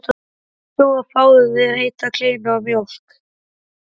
Komdu og fáðu þér heita kleinu og mjólk.